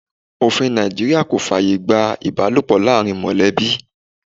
Òfin Nàìjíríà kò fàyè gba ibalopo láàárín molebi.